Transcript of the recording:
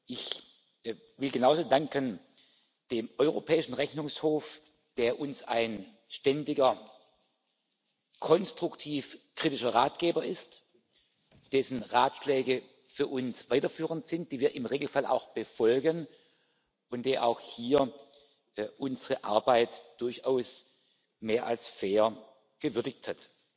Ich will genauso dem Europäischen Rechnungshof danken, der uns ein ständiger konstruktiv kritischer Ratgeber ist, dessen Ratschläge für uns weiterführend sind, die wir im Regelfall auch befolgen und der auch hier unsere Arbeit durchaus mehr als fair gewürdigt hat.